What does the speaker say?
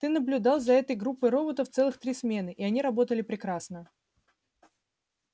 ты наблюдал за этой группой роботов целых три смены и они работали прекрасно